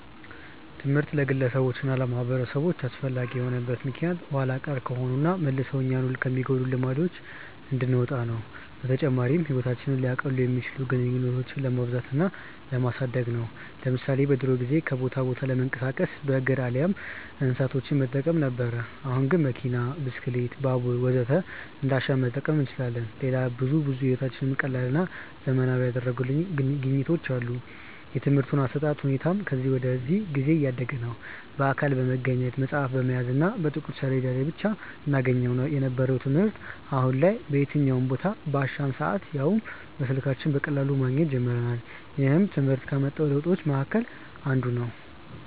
ትምህርት ለግለሰቦች እና ለማህበረሰቦች አስፈላጊ የሆነበት ምክንያት ኋላ ቀር ከሆኑና መልሰው እኛኑ ከሚጎዱን ልማዶች እንድንወጣ ነው። በተጨማሪም ህይወታችንን ሊያቀሉ የሚችሉ ግኝቶችን ለማብዛት እና ለማሳደግ ነው። ለምሳሌ በድሮ ጊዜ ከቦታ ቦታ ለመንቀሳቀስ በእግር አሊያም እንስሳቶችን በመጠቀም ነበር። አሁን ግን መኪና፣ ብስክሌት፣ ባቡር ወዘተ እንዳሻን መጠቀም እንችላለን። ሌላም ብዙ ብዙ ህይወታችንን ቀላልና ዘመናዊ ያደረጉልን ግኝቶች አሉ። የትምርህት አሰጣጥ ሁኔታውም ከጊዜ ወደ ጊዜ እያደገ ነዉ። በአካል በመገኘት፣ መፅሀፍ በመያዝ እና በጥቁር ሰሌዳ ብቻ እናገኘው የነበረውን ትምህርት አሁን ላይ በየትኛውም ቦታ፣ ባሻን ሰአት ያውም በስልካችን በቀላሉ ማግኘት ጀምረናል። ይህም ትምህርት ካመጣው ለውጦች መሀከል አንዱ ነው።